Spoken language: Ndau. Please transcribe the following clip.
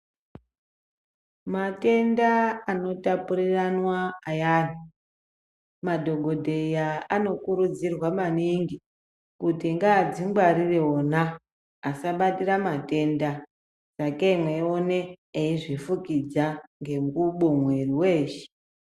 Matenda anotapuriranwa ayani madhokoteya anokurudzirwa maningi kuti ngadzingwarire ona asabatire matenda sakei mweione eizvifukudza ngengubo mwiri weshe.